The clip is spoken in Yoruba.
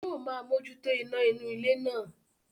Yóò máa mójútó iná inú ilé náà